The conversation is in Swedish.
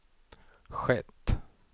skett